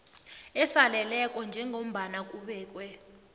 osaleleko njengombana kubekwe